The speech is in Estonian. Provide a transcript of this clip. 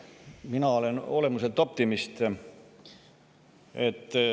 Mina olen olemuselt optimist.